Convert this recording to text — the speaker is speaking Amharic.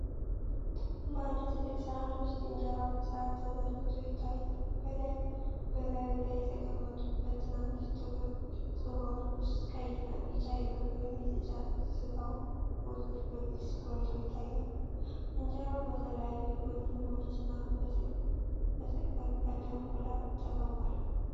በአንድ ትልቅ ሣህን ውስጥ እንጀራ በስርዓት ተዘርግቶ ይታያል። በላዩ ላይ በተቀመጡ ሁለት ትናንሽ ጥቁር ጽዋዎች ውስጥ ቀይ እና ቢጫ የበግ/የጥጃ ሥጋ ወጦች በግልጽ ጎልተው ይታያሉ። እንጀራው በተለያዩ የጎን ምግቦችና በተቀቀለ እንቁላል ተከቧል።